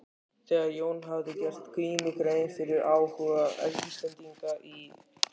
Þegar Jón hafði gert Grími grein fyrir áhuga Íslendinga í